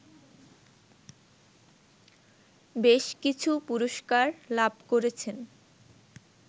বেশকিছু পুরস্কার লাভ করেছেন